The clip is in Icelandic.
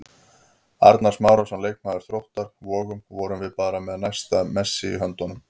Arnar Smárason, leikmaður Þróttar Vogum: Vorum við bara með næsta Messi í höndunum?